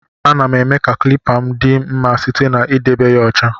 Ana m eme ka klipa m di mma site na edebe ya ọcha.